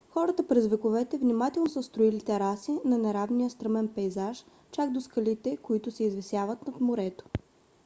хората през вековете внимателно са строили тераси на неравния стръмен пейзаж чак до скалите които се извисяват над морето